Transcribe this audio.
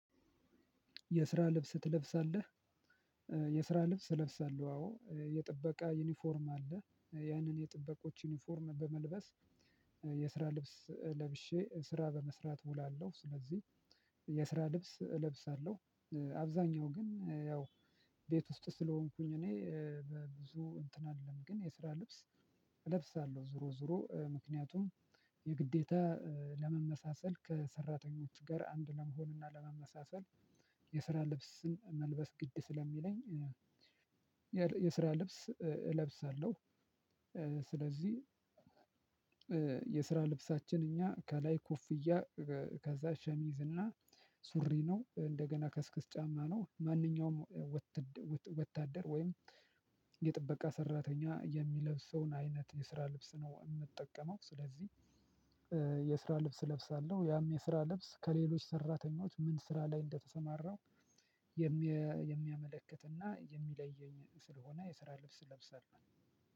የስራ ልብስ ትለብሳለህ? የስራ ልብስ እለብሳለሁ አዎ የጥበቃ ዩኒፎርም አለ ያንን የጥበቆች ዩኒፎርም በመልበስ የስራ ልብስ ለብሼ ስራ በመስራት እውላለሁ ስለዚህ የስራ ልብስ እለብሳለሁ። አብዛኛው ግን ያው ቤት ውስጥ ስለሆንኩኝ እኔ በብዙ እንትን አይደለም ግን የስራ ልብስ። እለብሳለሁ ዞሮ ዞሮ ምክንያቱም የግዴታ ለመመሳሰል ከሰራተኞች ጋር አንድ ለመሆንና ለመመሳሰል የስራ ልብስን መልበስ ግድ ስለሚለኝ። የስራ ልብስ እለብሳለሁ። ስለዚህ የስራ ልብሳችን እኛ ከላይ ኮፍያ። ከዛ ሸሚዝ እና ሱሪ ነው እንደገና ከስክስ ጫማ ነው። ማንኛውም ወታደር ወይም የጥበቃ ሰራተኛ የሚለብሰውን አይነት የስራ ልብስ ነው የምጠቀመው ስለዚህ። የስራ ልብስ ለብሳለሁ ያም የስራ ልብስ ከሌሎች ሰራተኞች ምን ስራ ላይ እንደተሰማራው የሚያመለክትና የሚለየኝ ስለሆነ የስራ ልብስ ለብሰን ነው።